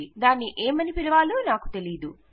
దానిని ఏమని పిలవాలో నాకు తెలియదు